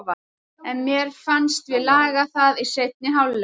En mér fannst við laga það í seinni hálfleik.